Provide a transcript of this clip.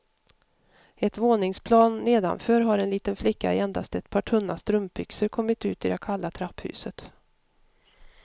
Ett våningsplan nedanför har en liten flicka i endast ett par tunna strumpbyxor kommit ut i det kalla trapphuset.